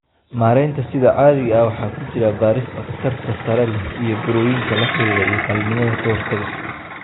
Maareynta sida caadiga ah waxaa ku jira baarista khatarta sare leh ee burooyinka la xiriira iyo qalliinnada ka hortagga.